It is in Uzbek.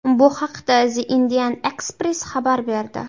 Bu haqda The Indian Express xabar berdi .